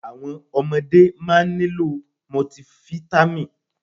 Àwọn ọmọdé máa nílò mọtifítámì.